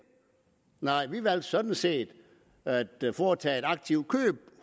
nej vi valgte sådan set at foretage et aktivt køb